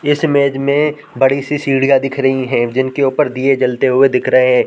इस इमेज में बड़ी-सी सीढ़ियाँ दिख रही है जिनके ऊपर दिए जलते हुए दिख रहे है।